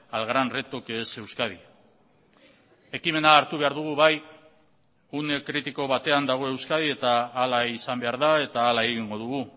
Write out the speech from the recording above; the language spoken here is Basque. al gran reto que es euskadi ekimena hartu behar dugu bai une kritiko batean dago euskadi eta hala izan behar da eta ala egingo dugu